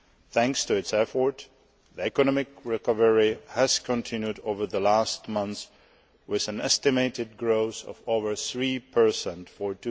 Thanks to its effort, the economic recovery has continued over the last months with an estimated growth of over 3 for